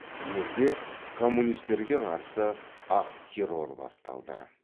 елде коммунистерге қарсы ақ террор басталды